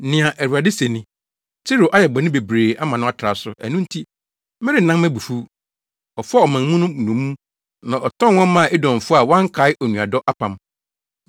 Nea Awurade se ni: “Tiro ayɛ bɔne bebree ama no atra so, ɛno nti, merennan mʼabufuw. Ɔfaa ɔmanmu no nnommum na ɔtɔn wɔn maa Edomfo, a wankae onuadɔ apam.